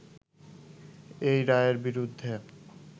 এই রায়ের বিরুদ্ধে